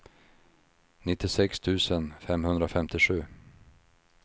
nittiosex tusen femhundrafemtiosju